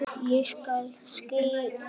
Ég skal skila því.